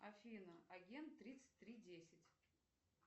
афина агент тридцать три десять